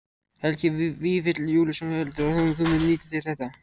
Helgi Vífill Júlíusson: Heldurðu að þú munir nýta þér þetta?